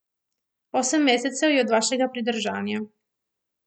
Osem mesecev je od vašega pridržanja.